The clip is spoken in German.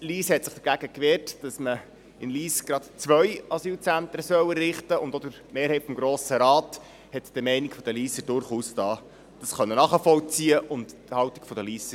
Lyss hat sich dagegen gewehrt, dass man in Lyss gerade zwei Asylzentren errichten soll, und auch die Mehrheit des Grossen Rates hat die Meinung der Lysser durchaus nachvollziehen können und ihre Haltung unterstützt.